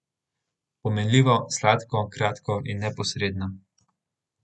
Pomenljivo, sladko, kratko in neposredno.